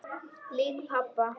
Lík pabba?